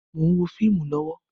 Mo ń wo fíìmù lọ́wọ́